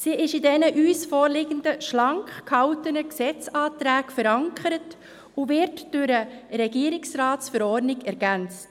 Sie ist in den uns vorliegenden, schlank gehaltenen Gesetzesanträgen verankert und wird durch die Regierungsratsverordnung ergänzt.